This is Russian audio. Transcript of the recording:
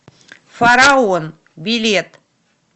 фараон билет